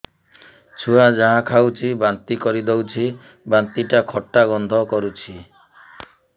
ଛୁଆ ଯାହା ଖାଉଛି ବାନ୍ତି କରିଦଉଛି ବାନ୍ତି ଟା ଖଟା ଗନ୍ଧ କରୁଛି